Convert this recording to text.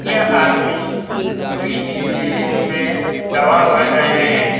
यह आदमी सुई न एमे दवा भर रहे हैं।